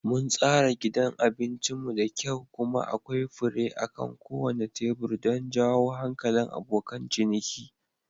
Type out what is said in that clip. Mun tsara gidan abincin mu da kyau kuma akwai fure akan kowane tebur don jawo hankalin abokan ciniki.